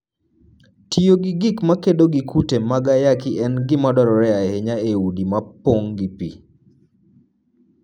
Tiyo gi gik makedo gi kute mag ayaki en gima dwarore ahinya e udi mopong' gi pi.